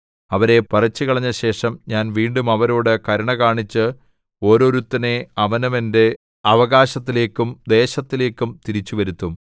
അവരെ പറിച്ചുകളഞ്ഞ ശേഷം ഞാൻ വീണ്ടും അവരോടു കരുണ കാണിച്ച് ഓരോരുത്തനെ അവനവന്റെ അവകാശത്തിലേക്കും ദേശത്തിലേക്കും തിരിച്ചുവരുത്തും